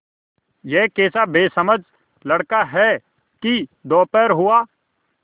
यह कैसा बेसमझ लड़का है कि दोपहर हुआ